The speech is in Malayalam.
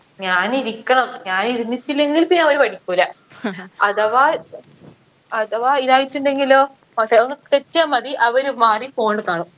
ഞാനിരിക്കണം ഞാനിരിന്നിട്ടില്ലെങ്കിൽ പിന്ന അവര് പഠിക്കൂല അഥവാ അഥവാ ഇതായിട്ടുണ്ടെങ്കിലോ പക്ഷെ ഒന്ന് തെറ്റിയാ മതി അവര് മാറി phone ല് കാണും